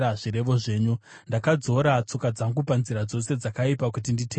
Ndakadzora tsoka dzangu panzira dzose dzakaipa kuti nditeerere shoko renyu.